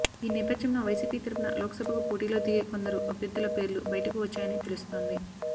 ఈ నేపధ్యంలో వైసీపీ తరుపున లోక్సభకు పోటీలో దిగే కొందరు అభ్యర్ధుల పేర్లు బయటకు వచ్చాయని తెలుస్తోంది